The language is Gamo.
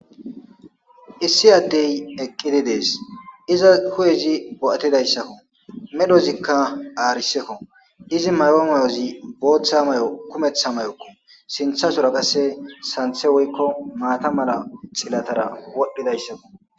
Issi addey eqqidi dees,izas hu7ezi bo7atidayssako medhozika aarisekko izi mayo mayozi booththa mayo kumethiko sinthasora qasse xilatazi sanththe woyko zhilla medhon wodhidaysako